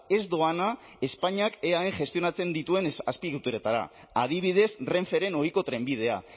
ez doana espainiak eaen gestionatzen dituen azpiegituretara adibidez renferen ohiko trenbidea